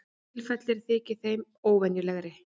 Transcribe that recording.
Tilfellið þykir með þeim óvenjulegri